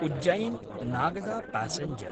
Ujjain-Nagda passenger